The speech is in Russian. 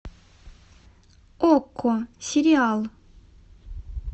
окко сериал